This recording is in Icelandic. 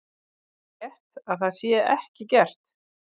Er það rétt að það sé ekki gert?